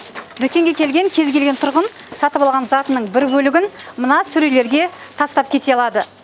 дүкенге келген кез келген тұрғын сатып алған затының бір бөлігін мына сөрелерге тастап кете алады